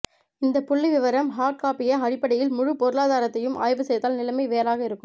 இந்த புள்ளி விவரம் ஹார்ட் காப்பிய அடிப்படையில் முழு பொருளாதாரத்தியும் ஆய்வு செய்தால் நிலைமை வேறாக இருக்கும்